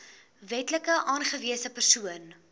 wetlik aangewese persoon